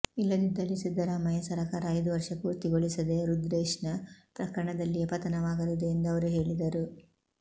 ಇಲ್ಲದಿದ್ದಲ್ಲಿ ಸಿದ್ದರಾಮಯ್ಯ ಸರಕಾರ ಐದು ವರ್ಷ ಪೂರ್ತಿಗೊಳಿಸದೆ ರುದ್ರೇಶ್ನ ಪ್ರಕರಣದಲ್ಲಿಯೇ ಪತನವಾಗಲಿದೆ ಎಂದು ಅವರು ಹೇಳಿದರು